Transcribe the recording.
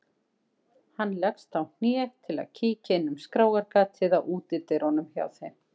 Hann leggst á hné til að kíkja inn um skráargatið á útidyrunum hjá þeim.